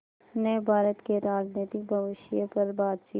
ने भारत के राजनीतिक भविष्य पर बातचीत